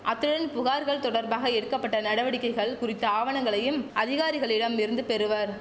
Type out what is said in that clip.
அத்துடன் புகார்கள் தொடர்பாக எடுக்க பட்ட நடவடிக்கைகள் குறித்த ஆவணங்களையும் அதிகாரிகளிடம் இருந்து பெறுவர்